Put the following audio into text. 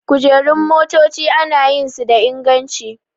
Kujerun motaci ana yin su da inganci